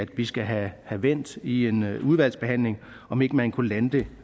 vi skal have vendt i en udvalgsbehandling om ikke man kunne lande det